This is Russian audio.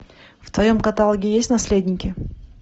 в твоем каталоге есть наследники